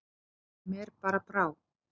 Mér bara brá.